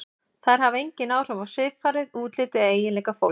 Þær hafa engin áhrif á svipfarið, útlit eða eiginleika fólks.